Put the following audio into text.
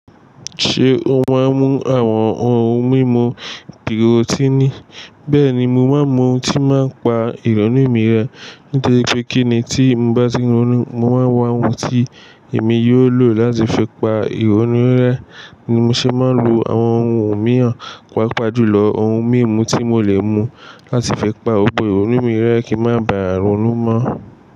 Ṣé o máa ń mu àwọn ohun mímu pírótínì? Bẹ́ẹ̀ni, mo máa ń mu ohun tí ó n máa ń pa ìrọ̀nú mi rẹ. Toripé kíni tí mo bá ti n ronú, mo máa ń wa ohun tí èmi yóò lò láti fi pa ìrọ̀nú rẹ. Ni mo ṣe máa ń lo àwọn ohun mímú, pàápàá jùlọ ohun mímu tí mo lè mu láti fi pa gbogbo ìrọ̀nú mi rẹ́ kí má ba à ronú mọ́.